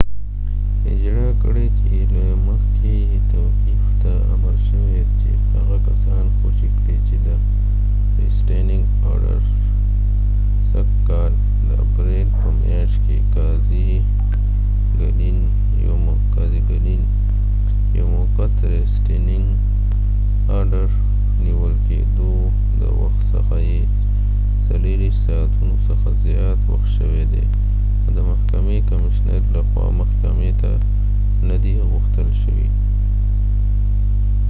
سږ کال د اپریل په میاشت کې قاضی ګلین یو موقت ریسټینینګ ارډر restaining order اجرا کړ چې له مخی یې توقیف ته امر شوي چې هغه کسان خوشي کړي چې د نیول کېدو د وخت څخه یې 24 ساعتونو څخه زیات وخت شوي دي .او د محکمی کمیشنر له خوا محکمی ته نه دي غوښتل شوي